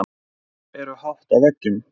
Speglar eru hátt á veggjum.